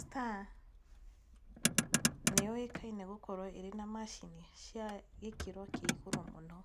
Star nĩ yũikaine gũkorwo na macini cia gĩkĩro kĩa igũrũ mũno.